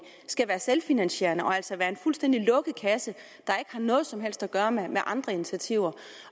skal være selvfinansierende og altså være en fuldstændig lukket kasse der ikke har noget som helst at gøre med andre initiativer